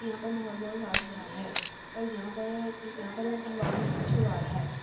यहाँ पर माहोल बहुत साफ़ सुथरा है और यहाँ पर यहाँ पर हवा बहुत है।